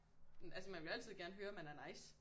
Altså man vil jo altid gerne høre at man er nice